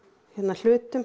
hlutum